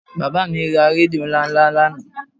Bàbá mi ra rédíò ńláńlá lánàá